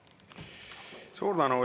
Suur tänu!